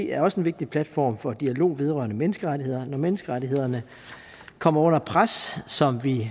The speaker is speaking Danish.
er også en vigtig platform for dialog vedrørende menneskerettigheder når menneskerettighederne kommer under pres som vi